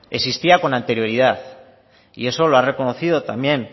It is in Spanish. existía con anterioridad y eso lo ha reconocido también